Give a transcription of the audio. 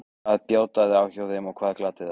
Hvað bjátaði á hjá þeim og hvað gladdi þær?